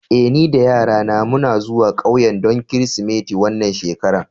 Eh, ni da yarana muna zuwa ƙauyen don Kirsimeti wannan shekara.